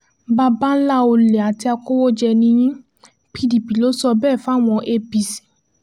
baba ńlá ọ̀lẹ àti akọ̀wéjẹ̀ ni yín pdp ló sọ bẹ́ẹ̀ fáwọn apc